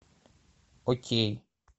окей